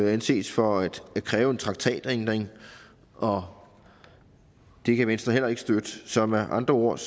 anses for at kræve en traktatændring og det kan venstre heller ikke støtte så med andre ord